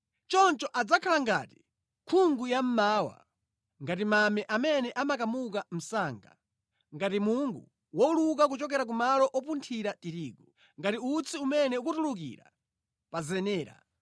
Choncho adzakhala ngati nkhungu yammawa, ngati mame amene amakamuka msanga, ngati mungu wowuluka kuchokera pa malo opunthira tirigu, ngati utsi umene ukutulukira pa zenera.